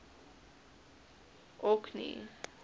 orkney